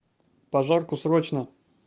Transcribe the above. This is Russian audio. пожарку срочно